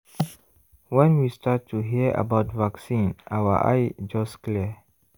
when we start to hear about vaccine our eye just clear.